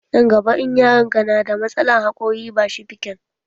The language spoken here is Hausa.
Nan gaba in yaron ka na da matsalan haƙori, ba shi fikan